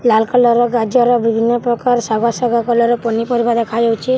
ଲାଲ୍‌ colour ର ଗାଜର୍‌ ଆଉ ବିଭିନ୍ନ ପ୍ରକାର ଶାଗୁଆ ଶାଗୁଆ କଲର୍‌ ର ପନିପରିବା ଦେଖା ଯାଉଛେ ଆଉ ସା --